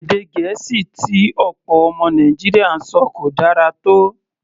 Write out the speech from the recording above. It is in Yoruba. Èdè Gẹ̀ẹ́sì tí ọ̀pọ̀ ọmọ Nàìjíríà ń sọ kò dára tó.